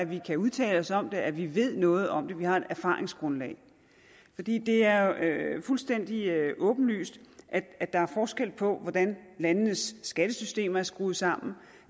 vi kan udtale os om det og at vi ved noget om det vi har et erfaringsgrundlag det er fuldstændig åbenlyst at der er forskel på hvordan landenes skattesystemer er skruet sammen